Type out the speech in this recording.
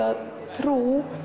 trúa